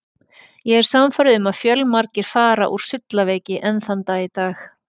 Ég er sannfærður um að fjölmargir fara úr sullaveiki enn þann dag í dag.